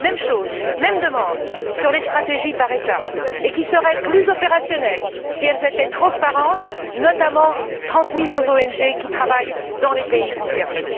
Même chose et même demande sur les stratégies par État, qui seraient plus opérationnelles si elles étaient transparentes, notamment transmises aux ONG qui travaillent dans les pays concernés.